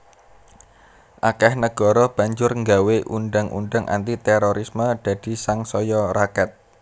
Akèh negara banjur nggawé undhang undhang anti térorisme dadi sangsaya raket